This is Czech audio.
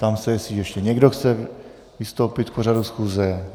Ptám se, jestli ještě někdo chce vystoupit k pořadu schůze.